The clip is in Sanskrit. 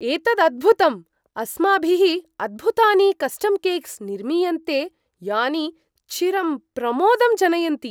एतत् अद्भुतम्, अस्माभिः अद्भुतानि कस्टम् केक्स् निर्मीयन्ते यानि चिरं प्रमोदं जनयन्ति।